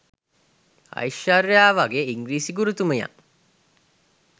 අයිශ්වර්‍යා වගේ ඉංග්‍රිසි ගුරුතුමියක්